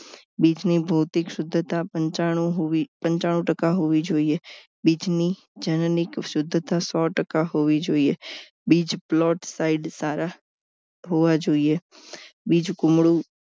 બીજ ની ભૌતિક સિધ્ધતા પંચાણું હોવી પંચાણું ટકા હોવી જોઈએ બીજની જનીનિક શુદ્ધતા સો ટકા હોવી જોઈએ બીજ પ્લોટ side સારા હોવા જોઈએ બીજું કુમળું